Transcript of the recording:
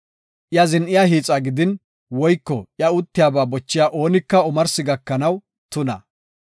Iya zin7iya hiixa gidin woyko iya uttiyaba bochiya oonika omarsi gakanaw tuna.